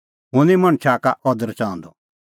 हुंह निं मणछा का अदर च़ाहंदअ